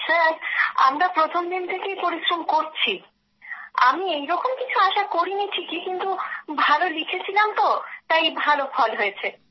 sir আমরা প্রথম দিন থেকেই পরিশ্রম করছি আমি এইরকম কিছু আশা করিনি কিন্ত আমি ভালো লিখেছিলাম তাই ভালো ফল হয়েছে